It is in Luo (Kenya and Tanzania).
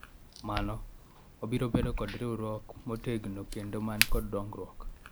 mano , wabiro bedo kod riwruok motegno kendo man kod dongruok